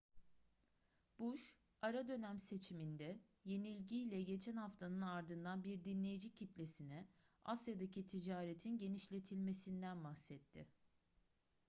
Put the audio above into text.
bush ara dönem seçiminde yenilgiyle geçen haftanın ardından bir dinleyici kitlesine asya'daki ticaretin genişletilmesinden bahsetti